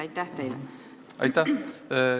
Aitäh!